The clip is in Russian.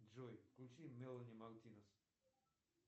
джой включи мелани мартинез